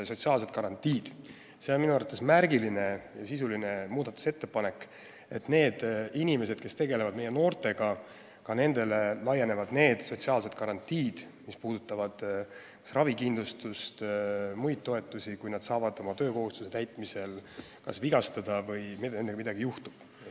See on minu arvates märgiline ja sisuline muudatusettepanek, et ka nendele inimestele, kes tegelevad meie noortega, laienevad sotsiaalsed garantiid, mis puudutavad ravikindlustust ja muid toetusi, kui nad saavad õppetegevuse ajal vigastada või nendega midagi muud juhtub.